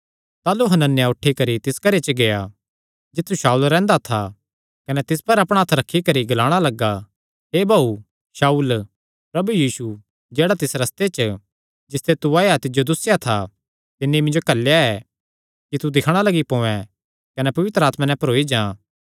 ताह़लू हनन्याह उठी करी तिस घरे च गेआ जित्थु शाऊल रैंह्दा था कने तिस पर अपणा हत्थ रखी करी ग्लाणा लग्गा हे भाऊ शाऊल प्रभु यीशु जेह्ड़ा तिस रस्ते च जिसते तू आया तिज्जो दुस्सेया था तिन्नी मिन्जो घल्लेया ऐ कि तू दिक्खणा लग्गी पोयैं कने पवित्र आत्मा नैं भरोई जां